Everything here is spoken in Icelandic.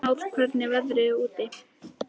Náð, hvernig er veðrið úti?